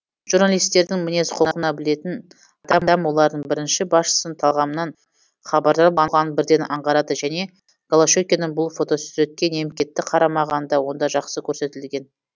журналистердің мінез құлқын білетін адам олардың бірінші басшының талғамынан хабардар болғанын бірден аңғарады және голощекиннің бұл фотосуретке немкетті қарамағаны да онда жақсы көрсетілген